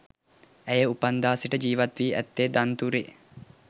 ඇය උපන්දා සිට ජීවත්වී ඇත්තේ දන්තුරේ